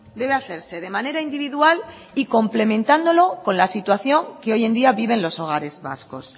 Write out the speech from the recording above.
debe hacerse de manera individual y complementándolo con la situación que hoy en día viven los hogares vascos